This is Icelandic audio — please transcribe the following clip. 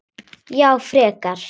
Já, frekar.